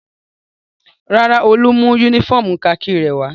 Rárá, Olú mú únífọ́ọ́mù kakí rẹ̀ wá.